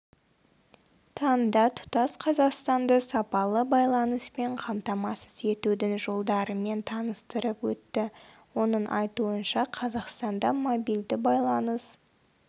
таңда тұтас қазақстанды сапалы байланыспен қамтамасыз етудің жолдарымен таныстырып өтті оның айтуынша қазақстанда мобильді байланыс